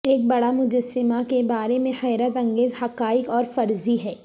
ایک بڑا مجسمہ کے بارے میں حیرت انگیز حقائق اور فرضی ہیں